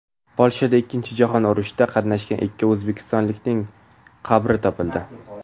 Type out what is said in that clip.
Polshada Ikkkinchi jahon urushida qatnashgan ikki o‘zbekistonlikning qabri topildi.